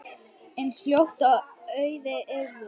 eins fljótt og auðið yrði.